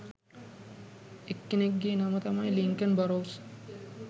එක්කෙනෙක්ගේ නම තමයි Lincoln Burrows